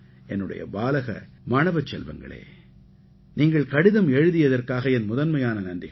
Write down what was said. என்னுடைய பாலக மாணவச் செல்வங்களே கடிதம் எழுதியதற்காக என் முதன்மையான நன்றிகள்